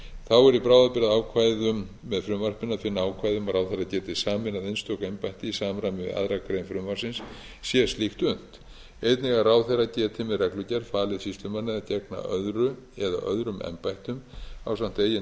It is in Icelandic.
þá er í bráðabirgðaákvæðum með frumvarpinu að finna ákvæði um að ráðherra geti sameinað einstök embætti í samræmi við aðra grein frumvarpsins sé slíkt unnt einnig að ráðherra geti með reglugerð falið sýslumanni að gegna öðru eða öðrum embættum ásamt eigin embætti